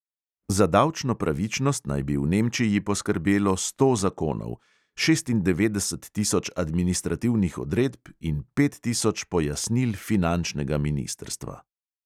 Za davčno pravičnost naj bi v nemčiji poskrbelo sto zakonov, šestindevetdeset tisoč administrativnih odredb in pet tisoč pojasnil finančnega ministrstva.